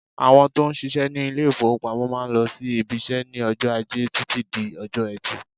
Àwọn tó ń ṣiṣẹ́ ní ilé-ìfowópamọ́ máà ń lọ sí ibiṣẹ́ ní ọjọ́ Ajẹ́ títí di ọjọ́ Ẹtì.